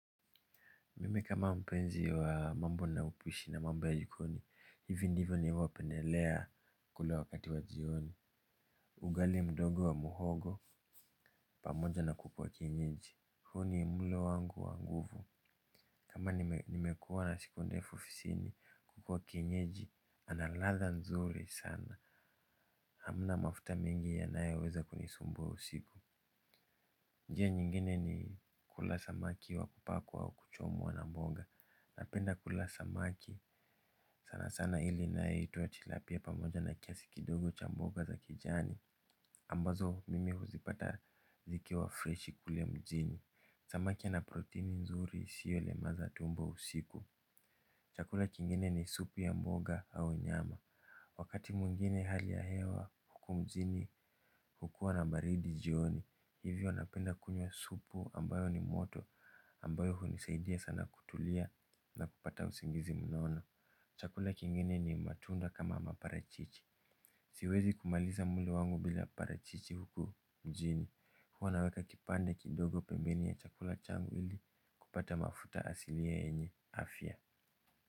Mimi kama mpenzi wa mambo na upishi na mambo ya jikoni, hivi ndivyo ninavyopendelea kula wakati wa jioni. Ugali mdogo wa muhogo, pamoja na kuku wa kienyeji. Huu ni mlo wangu wa nguvu. Kama nimekuwa na siku ndefu ofisini, kuku wa kinyeji, analadha nzuri sana. Hamna mafuta mengi yanayoweza kunisumbua usiku. Njia nyingine ni kula samaki wa kupakwa au kuchomwa na mboga. Napenda kula samaki sana sana, ile inayoitwa tilapia, pamoja na kiasi kidogo cha mboga za kijani. Ambazo mimi huzipata zikiwa freshi kule mjini. Samaki ana protini nzuri isiyolemaza tumbo usiku. Chakula kingine ni supu ya mboga au nyama. Wakati mwingine hali ya hewa huku mjini hukuwa na baridi jioni. Hivyo napenda kunywa supu ambayo ni moto, ambayo hunisaidia sana kutulia na kupata usingizi mnono. Chakula kingine ni matunda kama maparachichi. Siwezi kumaliza mlo wangu bila parachichi huku mjini. Huwa naweka kipande kidogo pembeni ya chakula changu ili kupata mafuta asilia yenye afya.